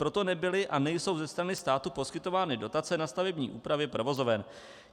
Proto nebyly a nejsou ze strany státu poskytovány dotace na stavební úpravy provozoven.